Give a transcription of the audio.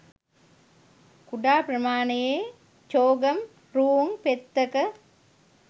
කුඩා ප්‍රමාණයේ චෝගම් රූං පෙත්තක